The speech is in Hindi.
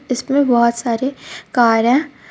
इसमें बहुत सारे कार है.